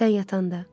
Sən yatanda.